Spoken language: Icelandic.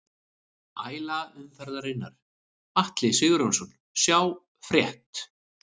Æla umferðarinnar: Atli Sigurjónsson Sjá frétt